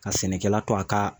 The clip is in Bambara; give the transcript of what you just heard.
Ka sɛnɛkɛla to a ka